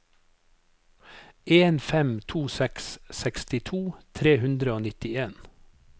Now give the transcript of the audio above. en fem to seks sekstito tre hundre og nittien